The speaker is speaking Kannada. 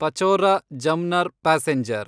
ಪಚೋರಾ ಜಮ್ನರ್ ಪ್ಯಾಸೆಂಜರ್